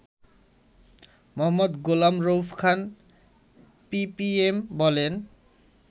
মো. Golam Rauf Khan PPM বলেন